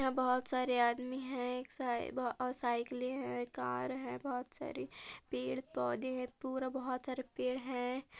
बहोत सारे आदमी है एक साई बहो और साइकिले है कार है बहोत सारे पेड़-पौधे है पूरा बहोत सारे पेड़ है।